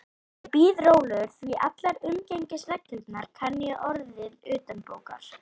Ég bíð rólegur, því allar umgengnisreglur kann ég orðið utanbókar.